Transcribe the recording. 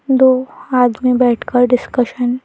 दो हाथ में बैठकर डिस्कशन --